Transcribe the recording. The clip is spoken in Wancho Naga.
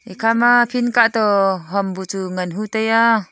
ekha ma field kato ham boh chu ngan hu taiya.